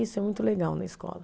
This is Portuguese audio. Isso é muito legal na escola.